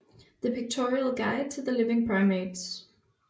The Pictorial Guide to the Living Primates